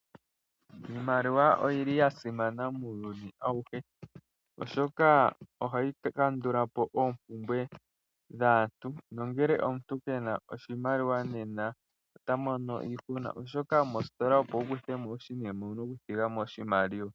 Iimaliwa oya simana muuyuni auhe, oshoka ohayi kandula po oompumbwe dhaantu. Nongele omuntu ngele ke na oshimaliwa ota mono iihuna, oshoka moositola opo wu kuthe mo oshinima owu na okuthiga mo oshimaliwa.